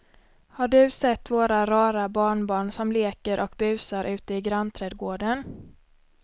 Har du sett våra rara barnbarn som leker och busar ute i grannträdgården!